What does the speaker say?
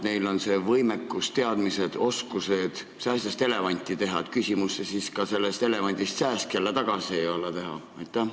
Neil on võimekus, teadmised ja oskused sääsest elevanti teha ning sellest elevandist jälle sääsk tagasi teha pole ka mingi küsimus.